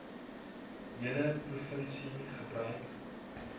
hele provinsie gebruik